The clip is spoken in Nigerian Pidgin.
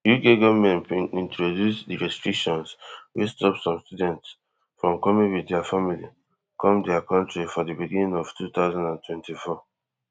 uk goment bin introduce di restrictions wey stop some students from coming wit dia families come dia kontri for di beginning of two thousand and twenty-four